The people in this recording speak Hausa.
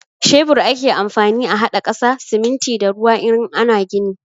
Shebur ake amfani a haɗa ƙasa, siminti da ruwa in ana gini.